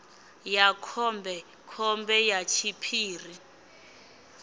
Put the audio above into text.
ya khombe khombe ya tshiphiri